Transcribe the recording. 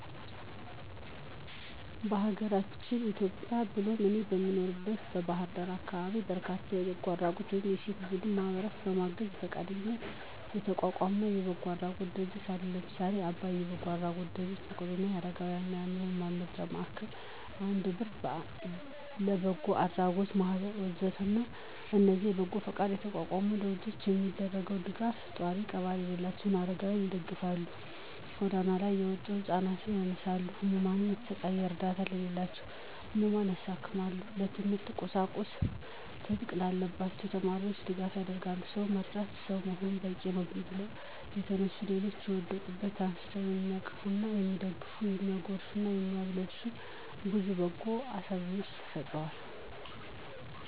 በአገራችን ኢትዮጵያ ብሎም እኔ በምኖርበት በባህር ዳር አካባቢ በርካታ የበጎ አድራጎት ወይም የሴቶች ቡድን ማህበረሰብን ለማገዝ በፈቃደኝነት የተቋቋመ የበጎ አድራጎት ድርጅቶች አሉ። ለምሳሌ :- አባይ የበጎ አድራጎት ድርጅት፣ መቄዶንያ የአረጋውያንና የአዕምሮ ህሙማን መርጃ ማዕከል፣ አንድ ብር የበጎ አድራጎት ማህበር ወ.ዘ.ተ... ናቸው። እነዚህ በበጎ ፈቃደኝነት የተቋቋሙ ድርጅቶች የሚያደርጉት ደጋፍ፣ ጧሪ ቀባሪ የሌላቸውን አረጋውያንን ይደግፋል፣ ጎዳና ላይ የወጡ ህፃናት ያነሳሉ፣ በህመም የሚሰቃዩ እረዳት የሌላቸውን ህሙማን ያሳክማሉ፣ የትምህርት ቁሳቁስ እጥት ላለባቸው ተማሪዎች ድጋፍ ያደርጋሉ። «ሰው ለመርዳት ሰው መሆን በቂነው» ብለው የተነሱ ሌሎችን ከወደቁበት አንስተው የሚያቅፉና የሚደግፉ፤ የሚያጎርሱና የሚያለብሱ ብዙ በጎ አሳቢዎችም ተፈጥረውልናል።